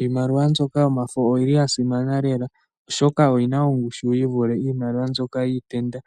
Iimaliwa mbyoka yomafo oyi li ya simana lela, oshoka oyi na ongushu yi vule iimaliwa mbyoka yiitenda